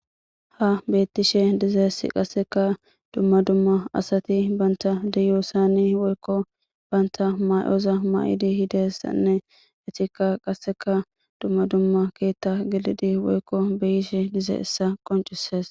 Habetishe dizayis qaseka dumma dumma asati banta deiyosani woyikko banta mayoza mayizanne etika qaseka dumma dumma keeththa gelidi woyikko beishe dizayisa qoncises.